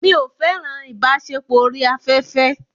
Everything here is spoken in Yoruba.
Mi ò fẹ́ràn ìbáṣepọ̀ orí afẹ́fẹ́.